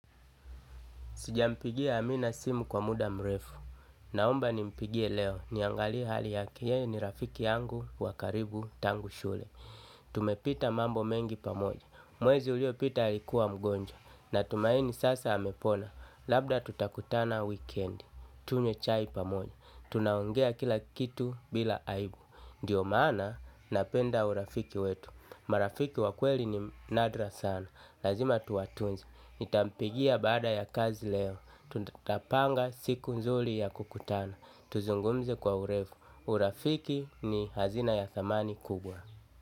Sijampigia amina simu kwa muda mrefu. Naomba ni mpigie leo. Niangalie hali yake. Yeye ni rafiki yangu wakaribu tangu shule. Tumepita mambo mengi pamoja. Mwezi ulio pita alikuwa mgonjwa. Natumaini sasa amepona labda tutakutana wikendi. Tunywe chai pamoja. Tunaongea kila kitu bila aibu. Ndiyo maana napenda urafiki wetu. Marafiki wakweli ni nadra sana. Lazima tuwatunze, nitampigia baada ya kazi leo, tutapanga siku nzuri ya kukutana. Tuzungumze kwa urefu, urafiki ni hazina ya thamani kubwa.